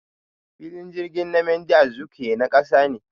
Filin jirgin Nmadi Azikiwe na kasa ne.